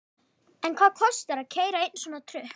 En hvað kostar að keyra einn svona trukk?